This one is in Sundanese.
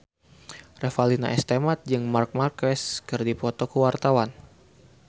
Revalina S. Temat jeung Marc Marquez keur dipoto ku wartawan